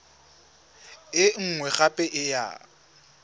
e nngwe gape e ya